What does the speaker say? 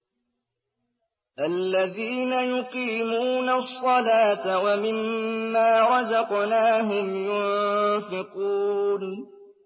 الَّذِينَ يُقِيمُونَ الصَّلَاةَ وَمِمَّا رَزَقْنَاهُمْ يُنفِقُونَ